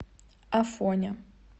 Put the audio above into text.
афоня